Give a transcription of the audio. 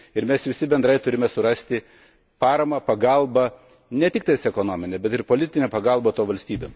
Ir mes visi bendrai turime surasti paramą, pagalbą ne tik ekonominę, bet ir politinę pagalbą toms valstybėms.